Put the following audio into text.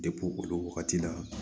olu wagati la